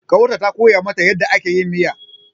Ƙawarta ta koya mata yadda ake miya.